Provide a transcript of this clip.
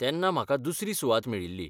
तेन्ना म्हाका दुसरी सुवात मेळिल्ली.